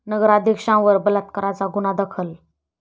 नगराध्यक्षांवर बलात्काराचा गुन्हा दाखल